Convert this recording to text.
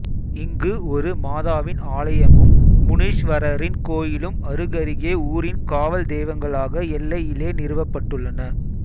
இங்கு ஒரு மாதாவின் ஆலயமும் முனீஸ்வரரின் கோயிலும் அருகருகே ஊரின் காவல் தெய்வங்களாக எல்லையிலே நிறுவப் பட்டுள்ளன